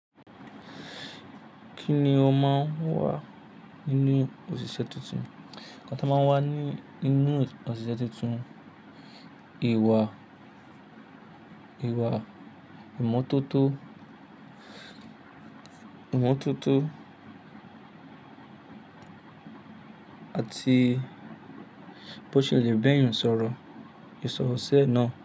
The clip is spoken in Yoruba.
Kí ni o máa ń wá nínú òṣìṣẹ́ tuntun? Nkán ta máa ń wà nínú òṣìṣẹ́ tuntun, ìwà, ìwà ìmọ́tótó, ìmọ́tótó àti bó o ṣe le bá eyan sọ̀rọ̀, ìsọ̀rọ̀ ṣi e náà.